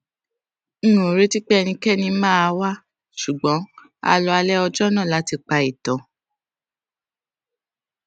n ò retí pé kí ẹnikéni máa wá ṣùgbón a lo alé ọjó náà láti pa ìtàn